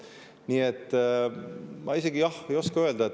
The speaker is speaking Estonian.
Nii et ma isegi ei oska öelda.